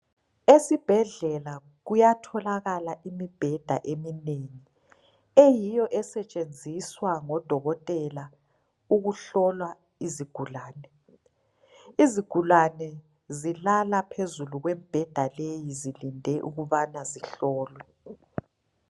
Esibhedlela kuyatholakala imibheda eminengi eyiyo esetshenziswa ngodokotela ukuhlola izigulane. Izigulane zilala phezulu kwemibheda leyi zilinde ukubana zihlolwe.